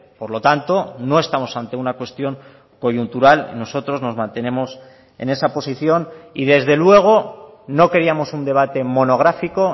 por lo tanto no estamos ante una cuestión coyuntural nosotros nos mantenemos en esa posición y desde luego no queríamos un debate monográfico